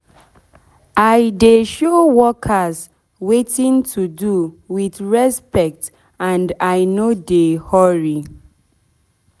i dey show workers wetin to do with respect and i nor dey hurry